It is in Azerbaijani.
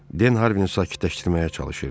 Den Harvinə sakitləşdirməyə çalışırdı.